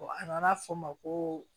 an b'a fɔ o ma ko